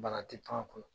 Bana tɛ to a kɔnɔ